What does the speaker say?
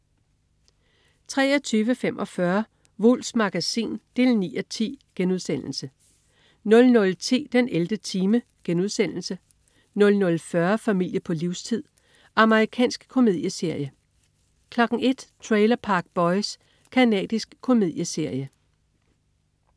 23.45 Wulffs Magasin 9:10* 00.10 den 11. time* 00.40 Familie på livstid. Amerikansk komedieserie 01.00 Trailer Park Boys. Canadisk komedieserie